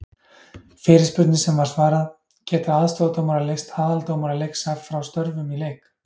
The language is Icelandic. Fyrirspurnir sem var svarað: Geta aðstoðardómarar leyst aðaldómara leiks frá störfum í leik?